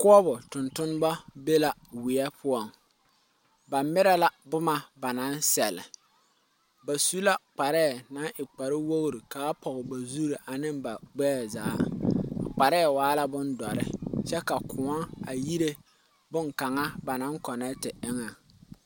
koɔbo tontone be la weɛ poɔŋ, ba mire la boma ba naŋ seɛle, ba su la kparre naŋ e kpar wogiri kaa pɔɔ ba zu ane ba gbɛɛ zaa, a kparre waa la bon doɔre kyɛ ka koɔ a yire bonkaŋa ba naŋ konnete eŋɛ.